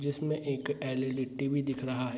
जिसमे एक LED. TV. दिख रहा है।